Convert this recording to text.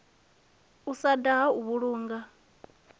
u sa daha u vhulunga